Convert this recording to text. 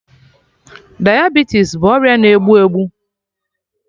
Diabetes bụ ọrịa na egbu egbu